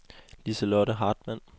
Liselotte Hartmann